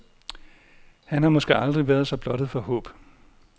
Han har måske aldrig været så blottet for håb.